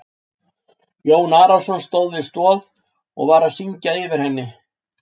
Jón Arason stóð við stoð og var að syngja yfir henni.